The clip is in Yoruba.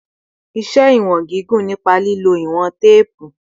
Ṣe iwọn gigun nipa lilo iwọn teepu